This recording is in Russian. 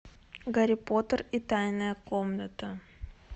гарри поттер и тайная комната